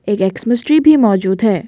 एक Xmas tree भी मौजूद है।